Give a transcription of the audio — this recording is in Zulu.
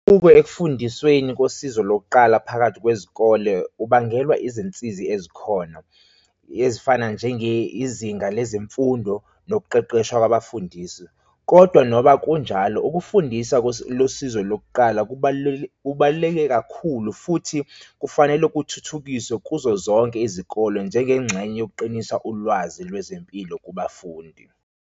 Ukwe ekufundisweni kosizo lokuqala phakathi kwezikole, ubangelwa izinsizi ezikhona ezifana njenge izinga lezemfundo nokuqeqeshwa kwabafundisi, kodwa noba njalo ukufundisa losizo lokuqala kubaluleke, kubaluleke kakhulu futhi kufanele kuthuthukiswe kuzo zonke izikole njengengxenye yokuqinisa ulwazi lwezempilo kubafundi.